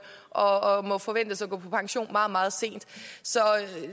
og må forventes at gå på pension meget meget sent så